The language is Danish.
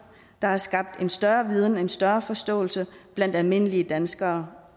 der har skabt en større viden en større forståelse blandt almindelige danskere